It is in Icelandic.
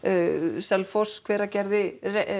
Selfoss Hveragerði